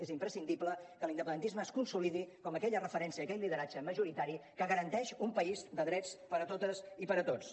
és imprescindible que l’independentisme es consolidi com aquella referència aquell lideratge majoritari que garanteix un país de drets per a totes i per a tots